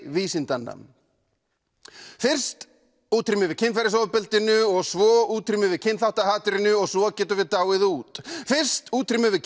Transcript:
vísindanna fyrst útrýmum við kynferðisofbeldinu og svo útrýmum við kynþáttahatrinu og svo getum við dáið út fyrst útrýmum við